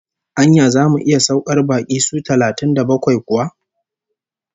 Anya zamu iya saukar baƙi su talatin da bakwai kuwa?